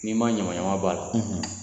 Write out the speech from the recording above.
N'i ma ɲamanɲaman bɔ min na